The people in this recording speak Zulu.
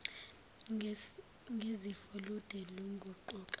ngezifo lude luguquka